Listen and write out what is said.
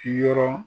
Yɔrɔ